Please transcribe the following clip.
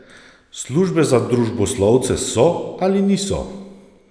Službe za družboslovce so ali niso?